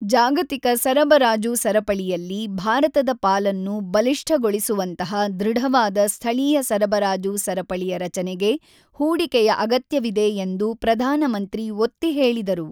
ಜಾಗತಿಕ ಸರಬರಾಜು ಸರಪಳಿಯಲ್ಲಿ ಭಾರತದ ಪಾಲನ್ನು ಬಲಿಷ್ಠಗೊಳಿಸುವಂತಹ ಧೃಡವಾದ ಸ್ಥಳೀಯ ಸರಬರಾಜು ಸರಪಳಿಯ ರಚನೆಗೆ ಹೂಡಿಕೆಯ ಅಗತ್ಯವಿದೆ ಎಂದು ಪ್ರಧಾನ ಮಂತ್ರಿ ಒತ್ತಿ ಹೇಳಿದರು.